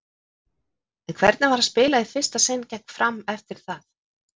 En hvernig var að spila í fyrsta sinn gegn Fram eftir það?